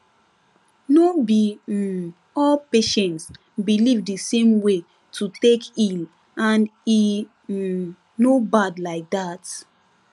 no be um all patients believe the same way to take heal and e um no bad like that